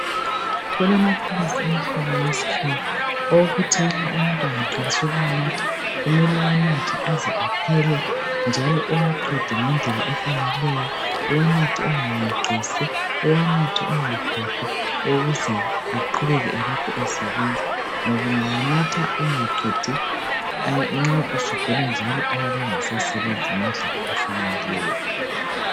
Kulamaphilisi emihlobo yesikhiwa ,okuthi nxa umuntu angaqalisa ukuwanatha ,kumele uwanathe aze aphele njalo uwaqede ngendlela efaneleyo ,uwanathe ungayeqisi ,uwanathe ungakhohlwa ,ukuze aqubeke elokhe esebenza .Ngoba ungawanatha ungaqedi nxa usugula njalo ayabe engasasebenzi ngendlela efaneleyo.